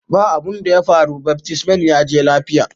Ba' abun daya faru, baftisman ya je lafiya.